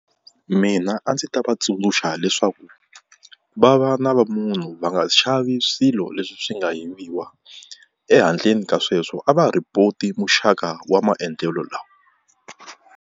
Mina a ndzi ta va tsundzuxa leswaku va va na va munhu va nga xavi swilo leswi swi nga yiviwa, ehandleni ka sweswo a va ha report-i muxaka wa maendlelo lawa.